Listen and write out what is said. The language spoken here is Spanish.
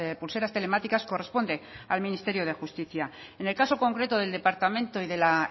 pulseras telemáticas corresponde al ministerio de justicia en el caso concreto del departamento y de la